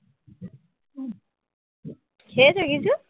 খেয়েছ কিছু